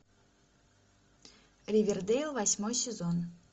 ривердейл восьмой сезон